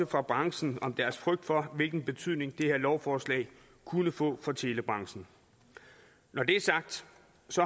fra branchen om deres frygt for hvilken betydning det her lovforslag kunne få for telebranchen når det er sagt